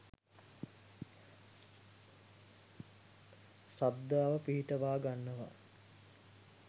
ශ්‍රද්ධාව පිහිටුවා ගන්නවා.